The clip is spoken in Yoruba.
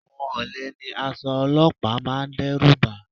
Àwọn olè ní aṣọ olọ́pàá máa ń dẹ́rùbà